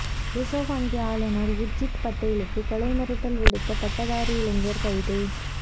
reserve வங்கி ஆளுநர் உர்ஜித் பட்டேலுக்கு கொலை மிரட்டல் விடுத்த பட்டதாரி இளைஞர் கைது